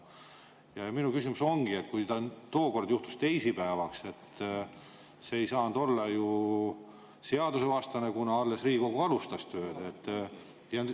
Minu küsimus ongi, et kui see tookord juhtus teisipäeval, siis see ei saanud olla ju seadusvastane, kuna Riigikogu alles alustas tööd.